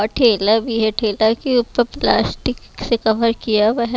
और ठेला भी है ठेला के ऊपर प्लास्टिक से कवर किया हुआ है।